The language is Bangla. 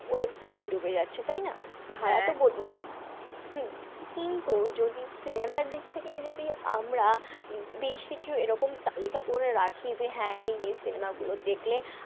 web series এ ঢুকে যাচ্ছে, তাই না? হম কিন্তু যদি cinema র দিক থেকেই যদি আমরা বেশকিছু এরকম তালিকা করে রাখি যে হ্যাঁ এই এই cinema গুলো দেখলে,